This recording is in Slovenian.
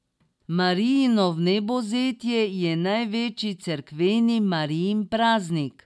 Marijino vnebovzetje je največji cerkveni Marijin praznik.